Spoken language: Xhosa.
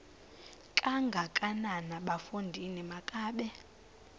kangakanana bafondini makabe